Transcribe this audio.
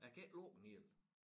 Jeg kan ikke lukke den helt